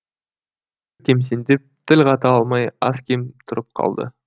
кемсеңдеп тіл қата алмай аз кем тұрып қалды